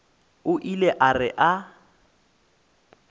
o ile a re a